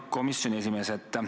Hea komisjoni esimees!